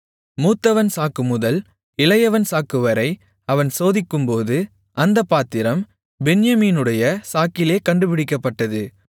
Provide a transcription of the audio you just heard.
மூத்தவன் சாக்குமுதல் இளையவன் சாக்குவரை அவன் சோதிக்கும்போது அந்தப் பாத்திரம் பென்யமீனுடைய சாக்கிலே கண்டுபிடிக்கப்பட்டது